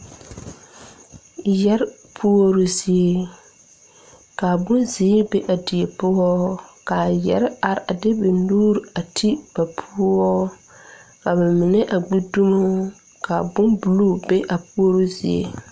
Yɛre puoroo zie kaa bonzeere be a die poɔ kaa yɛre are a de ba nuure a ti ba poɔ kaa ba mine a gbi dumo kaa bon bluu be a puoroo zie.